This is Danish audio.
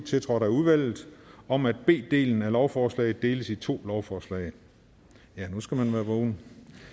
tiltrådt af udvalget om at b delen af lovforslaget deles i to lovforslag nu skal man være vågen